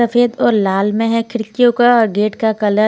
सफेद और लाल में है खिड़कियों का गेट का कलर --